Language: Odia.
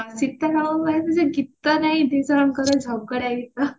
ଗୀତ ପାଇଁ ଦିଜଣଙ୍କର ଝଗଡା ଗୀତ